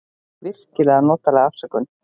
Virkilega notaleg afsökun.